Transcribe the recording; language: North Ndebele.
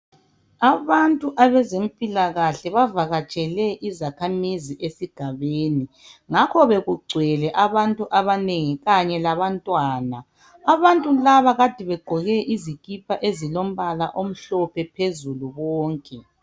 Abantu abazempilakahle bavakatshele izakhamizi esigabeni ngakho bekugcwele abantu abanengi kanye labantwana abantu laba kade begqoke izikipa ezilombala omhlophe phezulu kwonke